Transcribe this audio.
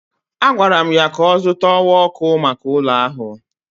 Agwara m ya ka ọ zụta ọwa ọkụ maka ụlọ ahụ.